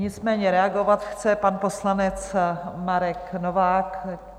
Nicméně reagovat chce pan poslanec Marek Novák.